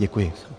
Děkuji.